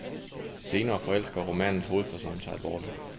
Senere forelsker romanens hoedperson sig alvorligt.